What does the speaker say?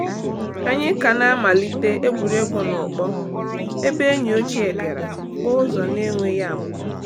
Anyị ka na-amalite egwuregwu n’ụkpọ ebe enyi ochie bịara kpọọ ụzọ na-enweghị amụma.